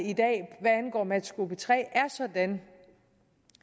og at matchgruppe tre er sådan